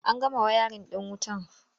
An gama wayarin ɗin wutar?